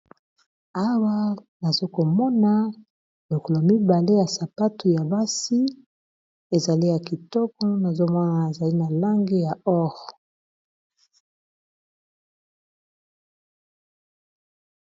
awa nazokomona lokolo mibale ya sapatu ya basi ezali ya kitoko nazomona azali na lange ya or